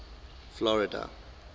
florida